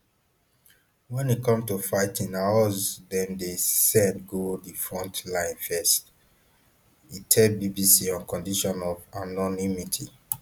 wen e come to fighting na us dem dey send go di front lines first e tell bbc on condition of anonymity